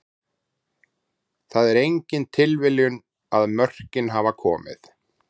Það er engin tilviljun að mörkin hafa komið.